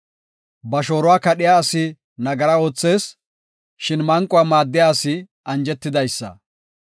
Ba shooruwa kadhiya asi nagara oothees; shin manquwa maaddiya asi anjetidaysa.